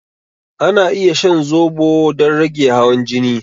Ana iya shan zobo don rage hawan jini.